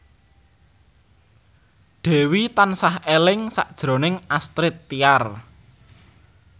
Dewi tansah eling sakjroning Astrid Tiar